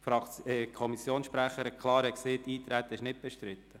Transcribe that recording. Zudem hat die Kommissionssprecherin klar gesagt, das Eintreten sei nicht bestritten.